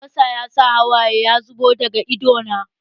Albasa ya sa hawaye ya zubo daga idanuna